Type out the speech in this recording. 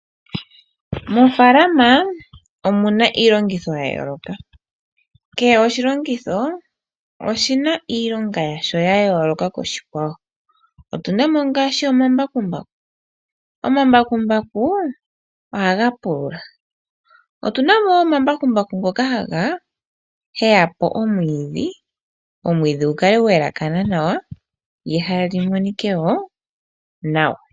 Moofaalama omuna iilongitho yayooloka kehe oshilongitho oshina iilonga yasho yayooloka koshikwawo. Otuna mo ngaashi omambakumbaku, omambakumbaku ohaga pulula. Otuna mo wo omambakumbaku ngoka haga heya po omwiidhi gu kale gwayelakana nawa nehala lyi monike wo nawa.